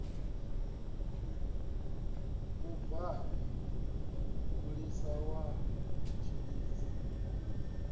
u bvafhi mulisa wa tshilidzi